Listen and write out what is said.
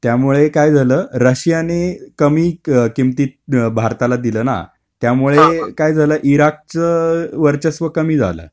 त्यामुळे काय झालं? रशियानी कमी किमतीत भारताला दिलं ना, त्यामुळे काय झालं, इराकचं वर्चस्व कमी झालं.